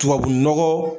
Tubabu nɔgɔ